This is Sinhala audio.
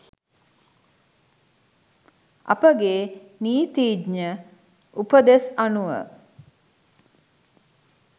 අපගේ නීතිඥ උපදෙස් අනුව